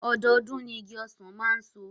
Ọdọọdún ni igi ọsàn máa ń so